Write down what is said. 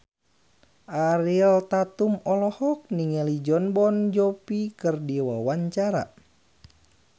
Ariel Tatum olohok ningali Jon Bon Jovi keur diwawancara